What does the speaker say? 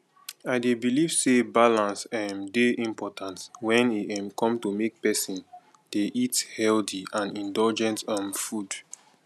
i dey believe say balance um dey important when e um come to make pesin dey eat healthy and indulgent um food